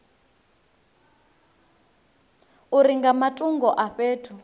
uri nga matungo a fhethu